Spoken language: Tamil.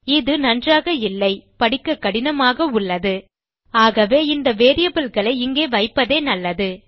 இது நன்றாக இல்லை படிக்க கடினமாக உள்ளது ஆகவே இந்த வேரியபிள் களை இங்கே வைப்பதே நல்லது